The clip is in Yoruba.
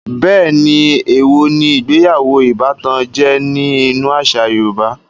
Bẹ́ẹ̀ni, èèwò ní ìgbéyàwó ìbátan jẹ́ ní inú àṣà yorùbá